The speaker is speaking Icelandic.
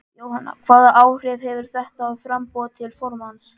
Jóhanna: Hvaða áhrif hefur þetta á framboð til formanns?